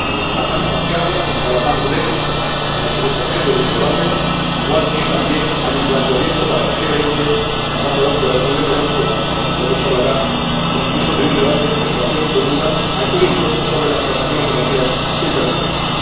La tasa bancaria, la llamada bank levy que va a ser objeto de ese debate, igual que también hay un planteamiento para el G20, para la reunión de Toronto, de la que luego se hablará, e incluso de un debate en relación con un impuesto sobre las transacciones financieras internacionales.